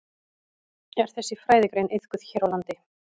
Er þessi fræðigrein iðkuð hér á landi?